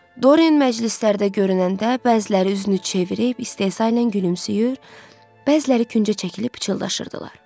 Dorian məclislərdə görünəndə bəziləri üzünü çevirib istehza ilə gülümsüyür, bəziləri küncə çəkilib pıçıldaşırdılar.